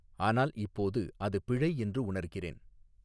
ஆனால் இப்போது அது பிழை என்று உணர்கிறேன்.